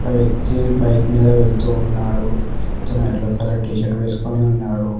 వ్యక్తి బైక్ మీద వెళ్తున్నాడు అతను ఎల్లో కలర్ టీ షర్ట్ వేసుకొని ఉన్నాడు.